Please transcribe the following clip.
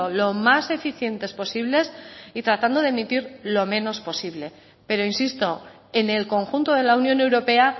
lo más eficientes posibles y tratando de emitir lo menos posible pero insisto en el conjunto de la unión europea